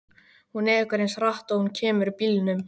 Hún ekur eins hratt og hún kemur bílnum.